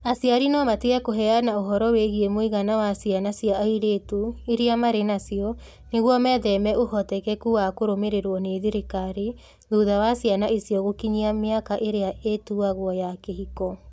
Aciari no matige kũheana ũhoro wĩgiĩ mũigana wa ciana cia airĩtu iria marĩ nacio nĩguo metheme ũhotekeku wa kũrũmĩrĩrũo nĩ thirikari, thutha wa ciana icio gũkinyia mĩaka ĩrĩa ĩtuagwo ya kĩhiko.